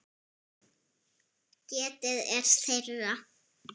Getið er þeirra.